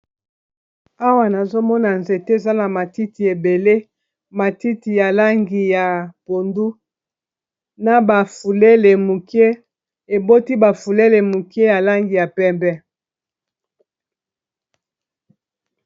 Awa nazomona nzete eza na matiti ebele matiti ya langi ya pondu na ba fulele muke eboti bafulele muke ya langi ya pembe.